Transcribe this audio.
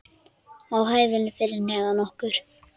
Á hæðinni fyrir neðan okkur.